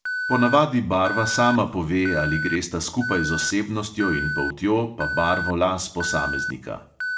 Ponavadi barva sama pove, ali gresta skupaj z osebnostjo in poltjo pa barvo las posameznika.